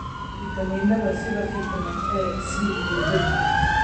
Fiitamiinada sida fiitamiin A, C, iyo birta.